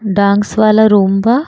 Dance वाला room बा।